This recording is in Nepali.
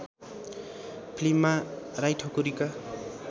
फिल्ममा राई ठकुरीका